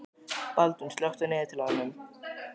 Baldvin, slökktu á niðurteljaranum.